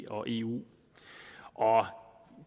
og eu